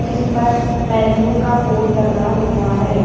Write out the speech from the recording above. इस पर मेनू का बोर्ड लगा हुआ है।